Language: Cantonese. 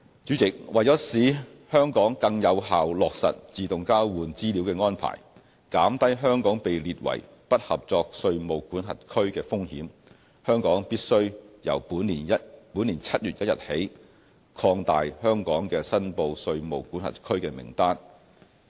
主席，為使香港更有效落實自動交換資料的安排，減低香港被列為"不合作稅務管轄區"的風險，香港必須由本年7月1日起擴大香港的"申報稅務管轄區"名單。